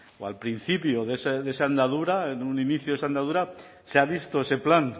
o al principio de esa andadura un inicio de esa andadura se ha visto ese plan